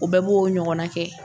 U bɛɛ b'o ɲɔgɔnna kɛ.